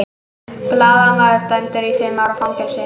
Blaðamaður dæmdur í fimm ára fangelsi